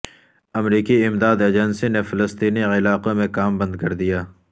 امریکی امدادی ایجنسی نے فلسطینی علاقوں میں کام بند کر دیا